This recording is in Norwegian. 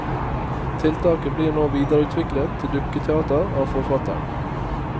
Tiltaket blir nå videreutviklet til dukketeater av forfatteren.